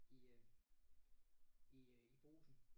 I øh i øh i Brugsen